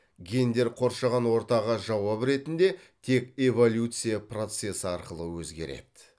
гендер қоршаған ортаға жауап ретінде тек эволюция процессі арқылы өзгереді